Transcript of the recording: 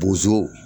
Bozo